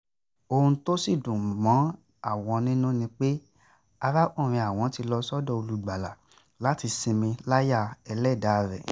ohun tó sì dùn mọ́ àwọn nínú ni pé arákùnrin àwọn ti lọ sọ́dọ̀ olùgbàlà láti sinmi láyà ẹlẹ́dàá rẹ̀